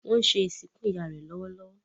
wón ṣe ìsìnkú ìyá rẹ lówó.